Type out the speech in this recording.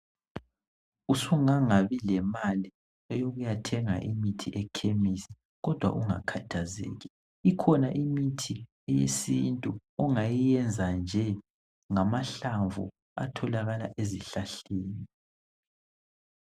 Usungangabi lemali eyokuyathenga imithi ekhemisi. Kodwa ungakhathazeki, ikhona imithi eyesintu ongayenza nje ngamahlamvu atholakala ezihlahleni.